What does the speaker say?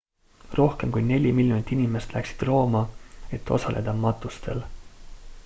rohkem kui neli miljonit inimest läksid rooma et osaleda matustel